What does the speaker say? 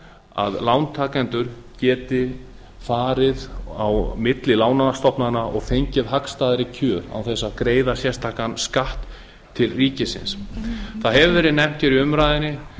að lántakendur geti farið á milli lánastofnana og fengið hagstæðari kjör án þess að greiða sérstakan skatt til ríkisins það hefur verið nefnt hér í umræðunni